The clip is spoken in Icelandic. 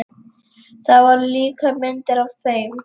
Það voru líka myndir af þeim.